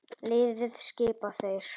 Liðið skipa þeir